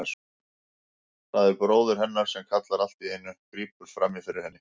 Það er bróðir hennar sem kallar allt í einu, grípur fram í fyrir henni.